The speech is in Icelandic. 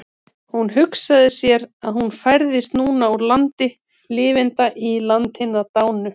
Hún hugsaði sér að hún færðist núna úr landi lifenda í land hinna dánu.